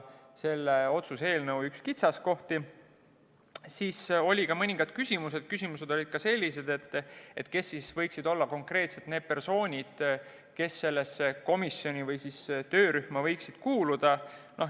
Olid ka mõned küsimused, näiteks: kes võiksid olla konkreetsed persoonid, kes sellesse komisjoni või töörühma kuuluksid.